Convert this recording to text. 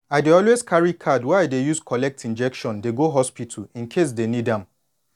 i always dey carry card wey i dey use collect injection dey go hospital incase dey need am